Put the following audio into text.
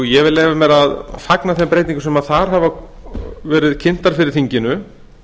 ég vil leyfa mér að fagna þeim breytingum sem þar hafa verið kynntar fyrir þinginu